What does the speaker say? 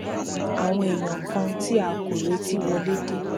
àwọn èèyàn kan tí a kò retí wọlé dé